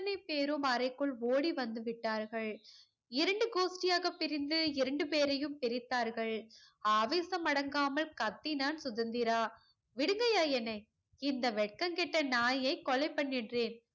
அத்தனை பேரும் அறைக்குள் ஓடிவந்துவிட்டார்கள் இரண்டு கோஷ்த்தியாக பிரிந்து இரண்டு பேரையும் பிரித்தார்கள் ஆவேசம் அடங்காமல் கத்தினான் சுதந்திரா விடுங்கையா என்னை இந்த வெக்கம் கெட்ட நாயை கொலைபன்னிற்றேன்